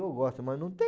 eu gosto, mas não tem.